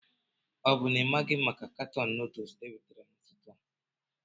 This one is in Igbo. O bụ na ị maghị maka katọn noodles ewetara n'ụtụtụ a?